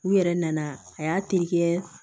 U yɛrɛ nana a y'a terikɛ